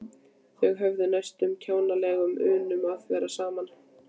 Þau höfðu næstum kjánalega unun af því að vera saman.